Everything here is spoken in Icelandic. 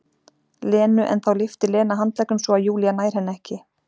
Lenu en þá lyftir Lena handleggnum svo að Júlía nær henni ekki.